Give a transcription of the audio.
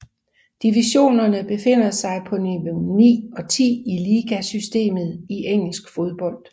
Divisionerne befinder sig på niveau 9 og 10 i ligasystemet i engelsk fodbold